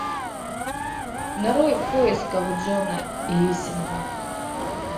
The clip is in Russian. нарой в поисках джона гиссинга